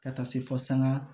Ka taa se fo sanga